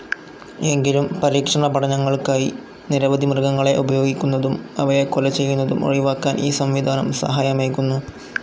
എങ്കിലും പരീക്ഷണ പഠനങ്ങൾക്കായി നിരവധി മൃഗങ്ങളെ ഉപയോഗിക്കുന്നതും അവയെ കൊലചെയ്യുന്നതും ഒഴിവാക്കാൻ ഈ സംവിധാനം സഹായമേകുന്നു.